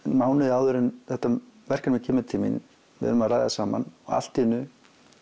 mánuði áður en þetta verkefni kemur til mín við erum að ræða saman og allt í einu